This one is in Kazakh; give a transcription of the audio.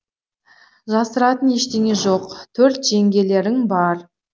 жасыратын ештеңе жоқ төрт жеңгелерің бар